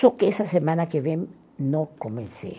Só que essa semana que vem não comecei.